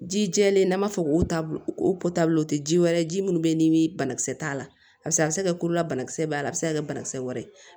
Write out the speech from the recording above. Ji jɛlen n'an b'a fɔ ko taa o o tɛ ji wɛrɛ ye ji minnu bɛ yen ni banakisɛ t'a la paseke a bɛ se ka kɛ kolola banakisɛ b'a la a bɛ se ka kɛ banakisɛ wɛrɛ